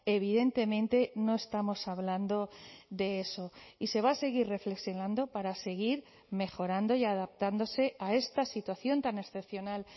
evidentemente no estamos hablando de eso y se va a seguir reflexionando para seguir mejorando y adaptándose a esta situación tan excepcional